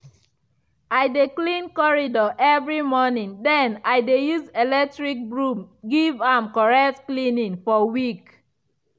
i dey clean corridor evri morning den i dey use electric broom give am correct cleaning for week.